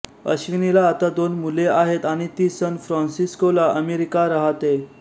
अश्विनीला आता दोन मुले आहेत आणि ती सन फ्रॅन्सिस्कोला अमेरिका रहाते